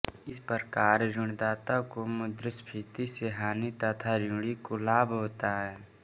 इस प्रकार ऋणदाता को मुद्रास्फीति से हानि तथा ऋणी को लाभ होता है